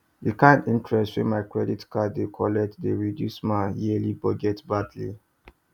di kind interest wey my credit card dey dey collect dey reduce my yearly budget badly